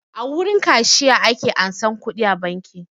A wurin kashiya ake ansan kuɗi a banki